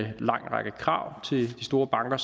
en lang række krav til de store banker